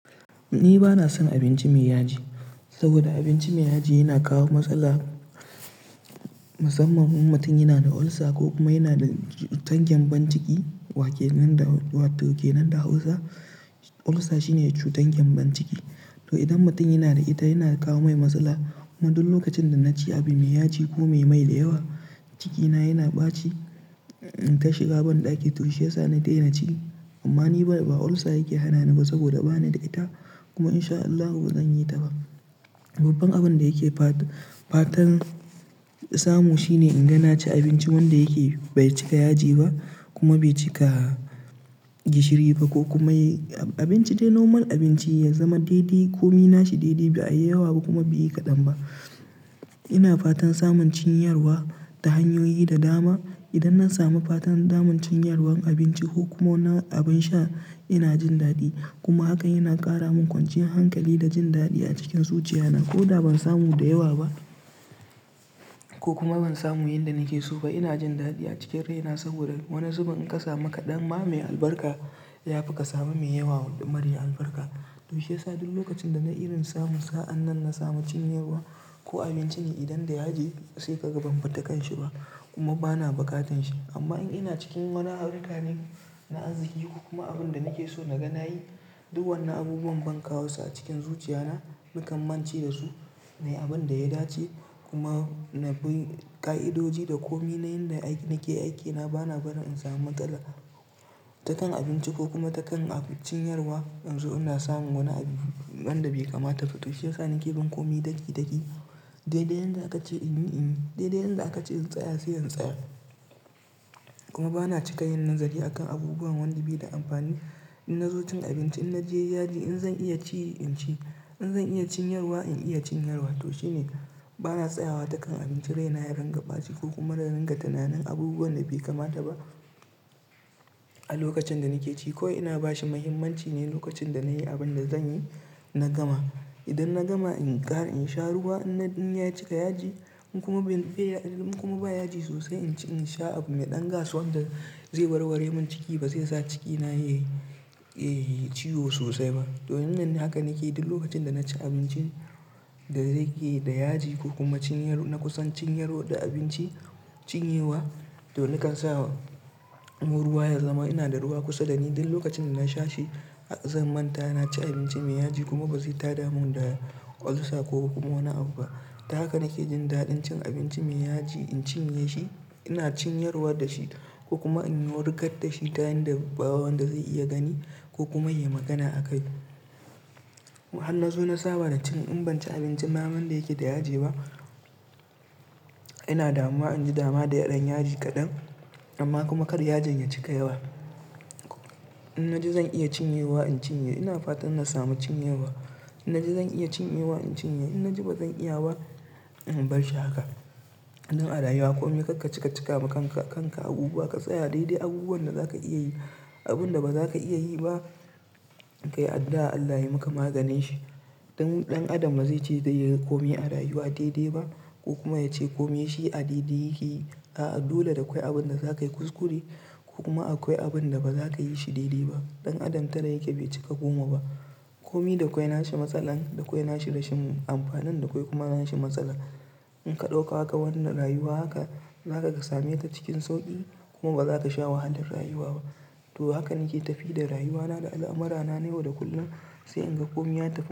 Ni ba na son abinci mai yaji, saboda abinci mai yaji yana kawo matsala. Musamman in mutun yina da ulcer ko kuma yana da cutar gembon ciki, wake nan da, wato kenan da Hausa ulcer shine cutar gembon ciki. To, idan mutun yana da ita yana kawo mai matsala. Kuma duk lokacin da na ci abu mai yaji ko me mai da yawa, cikina yana ɓaci, ta shiga banɗaki to shi ya sa na daina ci. Amma ni ba ulcer yake hana ni ba saboda ba ni da ita kuma insha Allahu ba zan yi ta ba. Babban abin da yake fatan samu shine in ga na ci abinci wanda yake bai cika yaji ba kuma bai cika gishiri ba ko kuma abinci dai normal abinci, ya zama daidai ko mi nashi daidai bai yi yawa ba kuma bai yi kaɗan ba. Ina fatan samun cinyarwa ta hanyoyi da dama. Idan na samu fatan daman cinyarwan abinci ko kuma abin sha ina jin daɗi kuma haka yana ƙara min kwanciyan hankali da jin daɗi a cikin zuciyana. Ko da ban samu da yawa ba ko kuma ban samu yanda nake so ba ina jin daɗi a cikin raina saboda wani zubin in ka samu kaɗan ma mai albarka ya fi ka samu mai yawa mare albarka. To shi ya sa duk lokacin da na irin samu sa'an nan na samu cinyarwa ko abinci ne idan da yaji sai ka ga ban bi ta kanshi ba kuma ba na bukatan shi. Amma in ina cikin wani harka ne na arziki ko kuma abin da nake so naga nayi, duk wannan abubuwan ban kawo su a cikin zuciya na nikan mance da su. Nai abin da ya dace kuma na bi ka'idoji da komai na yanda nake aikina ba na barin in samu matsala ta kan abinci ko kuma ta kan cinyarwa. In zo ina samun wani abu wanda bai kamata ba to shi ya sa nake bin komai daki-daki, dai-dai yanda aka ce in yi in yi, dai-dai yanda aka ce in tsaya sai in tsaya. Kuma ba na cika yin nazari a kan abubuwan wanda bai da amfani. In na zo cin abinci in na ji yaji in zan iya ci in ci, in zan iya cinyarwa in iya cinyarwa. To shine, bana tsayawa ta kan abincin raina ringa ɓaci ko kuma da in ringa tunanin abubuwan da bai kamata ba a lokacin da nake ci kawai ina bashi muhimmanci ne lokacin da na yi abin da zan yi na gama. Idan na gama in ƙara in sha ruwa in ya cika yaji in kuma bai, in kuma bai yaji sosai in ci, in sha abu me ɗan gas wanda zai warware min ciki ba zai sa cikina ya, ya ciwo sosai ba. To wannan haka nake duk lokacin da na ci abincin da zai ke da yaji ko kuma na kusan cinyarwa da abinci, cinye wa to nakan sa wa mu ruwa ya zama ina da ruwa kusa da ni duk lokacin da na sha shi. Zan manta na ci abinci mai yaji kuma ba zai taɗa mun da ulcer ko kuma wani abu ba. Ta haka nake jin daɗin cin abinci mai yaji, in cinye shi ina cinyarwa da shi ko kuma in yi wurgar da shi ta yanda ba wanda zai iya gani ko kuma yai magana akai. In na zo na saba da cin, in ban ci abinci ma wanda yake da yaji ba ina damuwa in ji dama da dan yaji kaɗan amma kuma kar yajin ya cika yawa. In na ji zan iya cinye wa in cinye, ina fatan na samu cinyewa. In na ji zan iya cinye wa in cinye, in na ji ba zan iya ba in bar shi haka. Nan a rayuwa kome karka cika cika ma kanka abubuwa ka tsaya dai-dai abubuwan da zaka iya yi. Abun da ba za ka iya yi ba ka yi addu'a Allah ya yi maka maganin shi. Ɗan Adam bazai ce zai yi komai a rayuwa daidai ba ko kuma ya ce komai shi a daidai yake. A'a dole da akwai abun da zakayi kuskure ko kuma akwai abun da ba za ka yi shi daidai ba. Ɗan Adam tara yake bai cika komai ba. Komi da kwai nashi matsala, da kwai nashi rashin amfanin, da kwai kuma nashi matsala. In ka ɗauka haka wannan rayuwa haka, za ka kasame ta cikin sauƙi kuma ba za ta sha wahalar rayuwa ba. To haka nike tafi da rayuwana da al'amurana na yau da kullum sai in ga komai ya tafi.